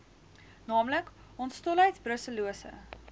naamlik hondsdolheid brusellose